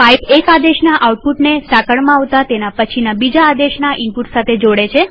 pipe એક આદેશના આઉટપુટને સાંકળમાં આવતા તેના પછીના બીજા આદેશના ઈનપુટ સાથે જોડે છે